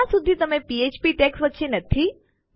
જ્યાં સુધી તે ફ્ફ્પ ટૅગ્સ વચ્ચે નથી